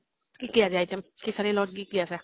কি কি আজি item? খিচাৰী ৰ লগত কি কি আছে?